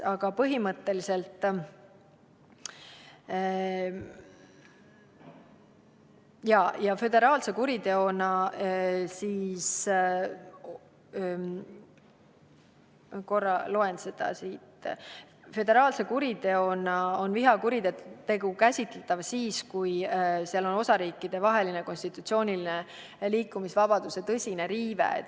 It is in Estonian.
Aga põhimõtteliselt – korra loen siit – on föderaalse kuriteona vihakuritegu käsitletav siis, kui tegemist on osariikidevahelise konstitutsioonilise liikumisvabaduse tõsise riivega.